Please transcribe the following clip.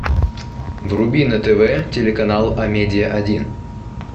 вруби на тв телеканал амедиа один